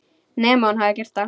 Nema hún hafi gert það.